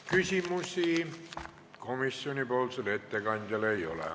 Küsimusi komisjoni ettekandjale ei ole.